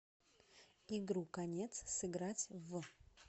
игру конец сыграть в